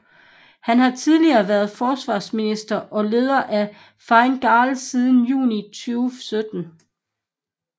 Han har tidlige været forsvarsminister og leder af Fine Gael siden juni 2017